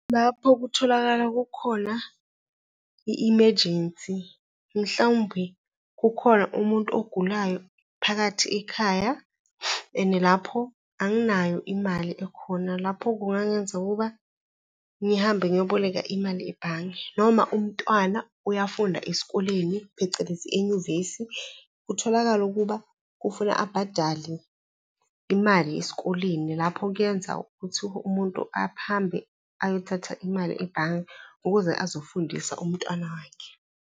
Lapho kutholakala kukhona i-emergency, mhlawumbe kukhona umuntu ogulayo phakathi ekhaya and lapho anginayo imali ekhona. Lapho kungangenza ukuba ngihambe ngiyoboleka imali ebhange noma umntwana uyafunda esikoleni, phecelezi enyuvesi. Kutholakale ukuba kufuna abhadale imali esikoleni lapho kuyenza ukuthi umuntu ahambe ayothatha imali ebhange ukuze azofundisa umntwana wakhe.